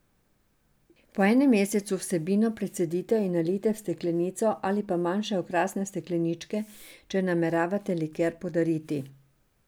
Po enem mesecu vsebino precedite in nalijte v steklenico ali pa manjše okrasne stekleničke, če nameravate liker podariti.